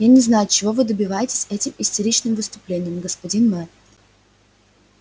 я не знаю чего вы добиваетесь этим истеричным выступлением господин мэр